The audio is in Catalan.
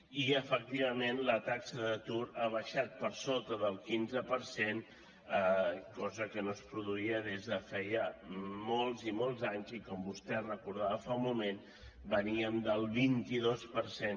i efectivament la taxa d’atur ha baixat per sota del quinze per cent cosa que no es produïa des de feia molts i molts anys i com vostè recordava fa un moment veníem del vint dos per cent